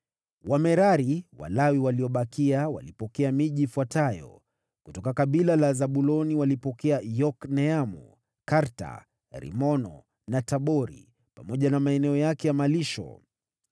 Wamerari (Walawi waliobakia) walipokea miji ifuatayo: kutoka kabila la Zabuloni walipokea Yokneamu, Karta, Rimoni na Tabori pamoja na maeneo yake ya malisho.